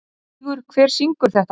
Stígur, hver syngur þetta lag?